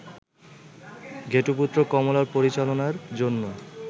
ঘেটুপুত্র কমলা পরিচালনার জন্য